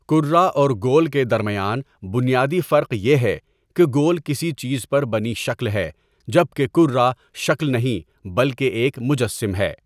کره اور گول کے درمیان بنیادی فرق یه ہے که گول کسی چیز پر بنی شکل ہے جبکه کره شکل نهیں بلکه ایک مجسم ہے.